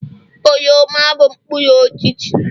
oroma bụ mkpụrụ osisi